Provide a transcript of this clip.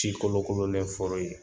Ti kolokololen fɔlɔ ye